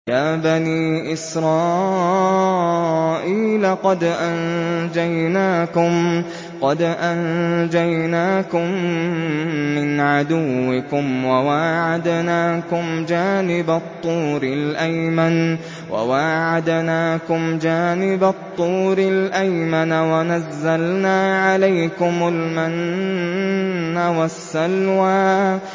يَا بَنِي إِسْرَائِيلَ قَدْ أَنجَيْنَاكُم مِّنْ عَدُوِّكُمْ وَوَاعَدْنَاكُمْ جَانِبَ الطُّورِ الْأَيْمَنَ وَنَزَّلْنَا عَلَيْكُمُ الْمَنَّ وَالسَّلْوَىٰ